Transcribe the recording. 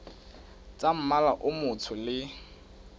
tsa mmala o motsho le